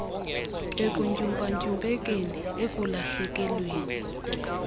ekuntyumpa ntyumpekeni ekulahlekelweni